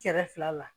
Kɛrɛfɛ fila la